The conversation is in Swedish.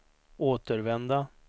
återvända